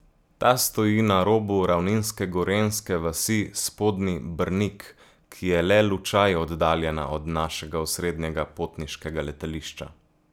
Ta stoji na robu ravninske gorenjske vasi Spodnji Brnik, ki je le lučaj oddaljena od našega osrednjega potniškega letališča.